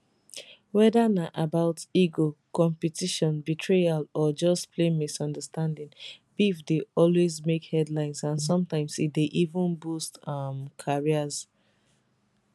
weda na about ego competition betrayal or just plain misunderstanding beef dey always make headlines and sometimes e dey even boost um careers